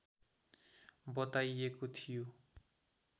बताइएको थियो